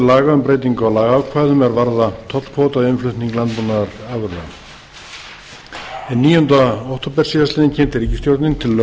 laga um breytingu á lagaákvæðum er varða tollkvóta við innflutning landbúnaðarafurða hinn níundi október síðastliðnum kynnti ríkisstjórnin